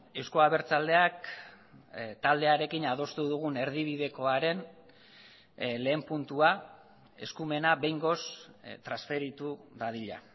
euzko abertzaleak taldearekin adostu dugun erdibidekoaren lehen puntua eskumena behingoz transferitu dadila